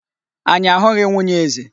Anyị a hụghị nwunye eze.